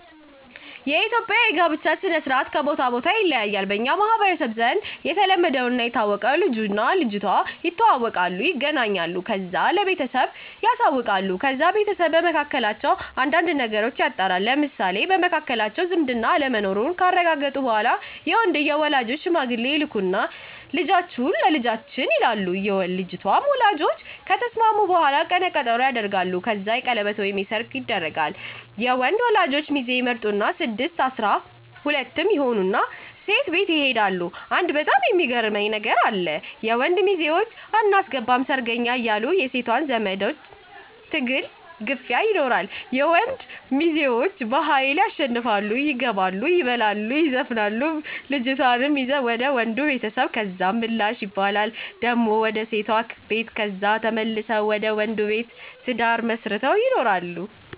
የኢትዩጵያ የጋብቻ ስነ-ስርአት ከቦታ ቦታ ይለያያሉ። በኛ ማህበረሰብ ዘንድ የተለመደና የታወቀው ልጅቱና ልጁ ይተዋወቃሉ ይገናኛሉ። ከዛ ለቤተሰባቸው ያሳውቃሉ። ከዛ ቤተሰብ በመካከላቸው አንዳንድ ነገሮችን ያጣራሉ ለምሳሌ፣ በመካከላቸው ዝምድና አለመኖሩን ካረጋገጡ በኋላ የወንድየው ወላጆች ሽማግሌ ይልኩና ልጃችሁ ለልጃችን ይሉና የልጅቷ ወላጆች ከተስማሙ በኋላ ቀነ ቀጠሮ ይደረጋል። ከዛ የቀለበት ወይም ሰርግ ይደረጋል። የወንድ ወላጆች ሚዜ ይመርጡና ስድስትም አስራ ሁለትም ይሆኑና ሴቷ ቤት ይሄዳሉ አንድ በጣም ሚያስገርመኝ ነገር አለ። የወንድ ሚዜወችን አናስገባም ሰርገኛ እያሉ የሴት ዘመዳዝማ ትግልና ግፊ ይኖራል የወንድ ሚዘወችም በሀይል ያሸንፉና ይገባሉ የበላሉ ይዘፍናሉ ልጅቷን ይዘው ወደ ወንዱ ቤተሰብ ከዛ ምላሽ ይባላል ደሞ ወደ ሴቷ ቤት ከዛ ተመልሰው ወንዱ ቤት ትዳር መስረተው ይኖራሉ።